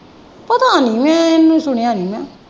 ਪਤਾ ਨਹੀਂ ਮੈਂ ਸੁਣਿਆ ਨਹੀਂ ਮੈਂ।